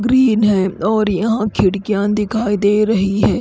Green है और यहाँ खिड़कीया दिखाई दे रही है।